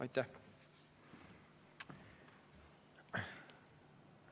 Aitäh!